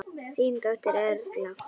Þín dóttir, Erla.